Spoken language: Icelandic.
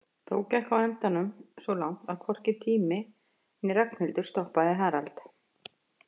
Þó gekk á endanum svo langt að hvorki tími né Ragnhildur stoppaði Harald.